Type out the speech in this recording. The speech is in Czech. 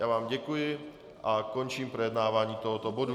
Já vám děkuji a končím projednávání tohoto bodu.